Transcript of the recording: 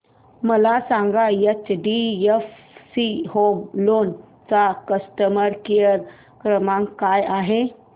मला सांगा HDFC home loan चा कस्टमर केअर क्रमांक काय आहे